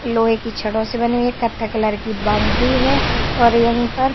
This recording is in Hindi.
लोहे की छड़ों से बनी हुई है कत्था कलर की बाउंड्री है और यहीं पर --